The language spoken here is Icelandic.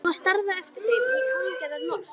Drífa starði á eftir þeim í hálfgerðu losti.